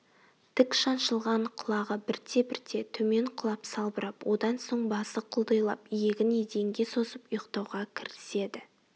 тік шаншылған құлағы бірте-бірте төмен құлап салбырап одан соң басы құлдилап иегін еденге созып ұйықтауға кіріседі